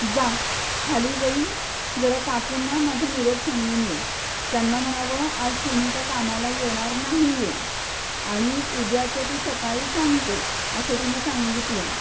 जा खाली जाऊन जरा काकुंना माझा निरोप सांगून ये. त्यांना म्हणावं आज सुनिता कामाला येणार नाहीये आणि उद्याचं ती सकाळी सांगते असं तिन सांगितलय.